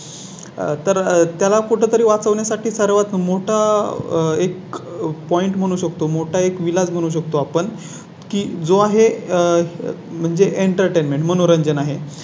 तर त्याला कुठ तरी वाचवण्या साठी सर्वात मोठा एक Point म्हणू शकतो. मोठा एक विलास बनू शकतो आपण की जो आहे आह म्हणजे Entertainment मनोरंजन आहे